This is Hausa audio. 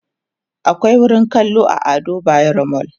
akwai wurin kallo a Ado bayero mall